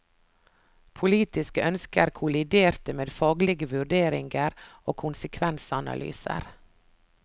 Politiske ønsker kolliderte med faglige vurderinger og konsekvensanalyser.